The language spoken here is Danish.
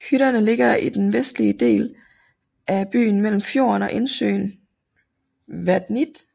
Hytterne ligger i den vestlige del af byen mellem fjorden og indsøen Vatnið